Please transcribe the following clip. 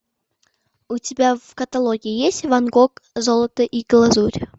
у тебя в каталоге есть ван гог золото и глазурь